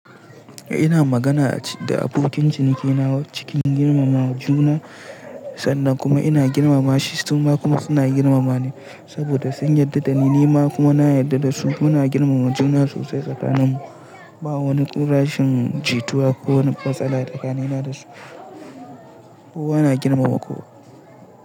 Ina magana da abokin ciniki na cikin girmama juna, sannan kuma ina girmama shi, suna kuma suna girmama ni saboda sun yarda da ni, ni ma kuma na yarda da su. Muna girmama juna sosai tsakaninmu. Ba wani ko rashen jituwa ko wani matsala tsakanina da su. Kowa na girmama kowa.